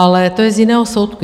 Ale to je z jiného soudku.